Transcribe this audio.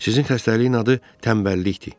Sizin xəstəliyin adı tənbəllikdir.